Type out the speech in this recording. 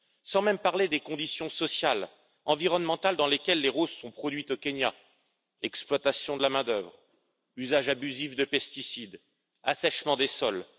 Je ne parle même pas des conditions sociales et environnementales dans lesquelles les roses sont produites au Kenya exploitation de la main d'œuvre, usage abusif de pesticides, assèchement des sols.